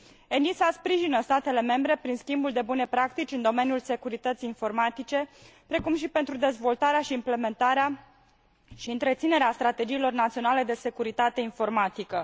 ENISA sprijină statele membre prin schimbul de bune practici în domeniul securității informatice, precum și pentru dezvoltarea, implementarea și întreținerea strategiilor naționale de securitate informatică.